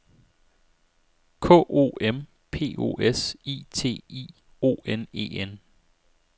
K O M P O S I T I O N E N